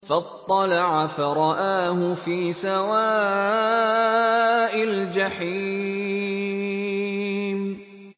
فَاطَّلَعَ فَرَآهُ فِي سَوَاءِ الْجَحِيمِ